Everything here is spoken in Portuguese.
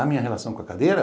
A minha relação com a cadeira?